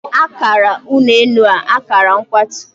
Akara ụlọ elu a, akara mkwatu